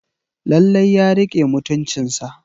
Lallai ya rike mutuncinsa.